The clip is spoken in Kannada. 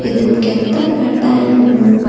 ಇದನ್ನ ಕೆತ್ತಕ್ಕೆ ಟೈಮು --